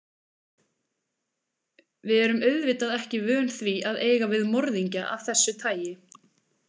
Við erum auðvitað ekki vön því að eiga við morðingja af þessu tagi.